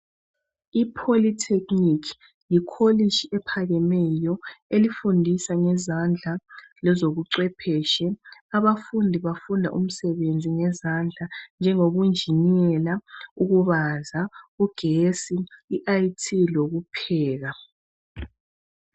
I polytechnic, likolitshi eliphakemeyo elifundisa ngezandla lezokucwephetshi. Abafundi bafunda imisebenzi yezandla, njengobunjinela, ukubaza, ugesi, i IT lokupheka.